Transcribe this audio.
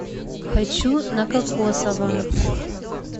хочу на кокосовом